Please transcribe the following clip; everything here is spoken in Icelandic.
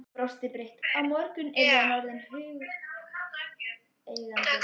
Hann brosti breitt: Á morgun yrði hann orðinn hundeigandi!